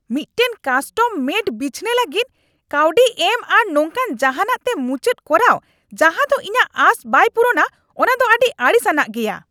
ᱢᱤᱫᱴᱟᱝ ᱠᱟᱥᱴᱚᱢᱼᱢᱮᱰ ᱵᱤᱪᱷᱱᱟᱹ ᱞᱟᱹᱜᱤᱫ ᱠᱟᱹᱣᱰᱤ ᱮᱢ ᱟᱨ ᱱᱚᱝᱠᱟᱱ ᱡᱟᱦᱟᱸᱱᱟᱜ ᱛᱮ ᱢᱩᱪᱟᱹᱫ ᱠᱚᱨᱟᱣ ᱡᱟᱦᱟ ᱫᱚ ᱤᱧᱟᱜ ᱟᱸᱥ ᱵᱟᱭ ᱯᱩᱨᱩᱱᱟ ᱚᱱᱟ ᱫᱚ ᱟᱹᱰᱤ ᱟᱹᱲᱤᱥ ᱟᱱᱟᱜ ᱜᱮᱭᱟ ᱾